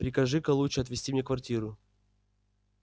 прикажи-ка лучше отвести мне квартиру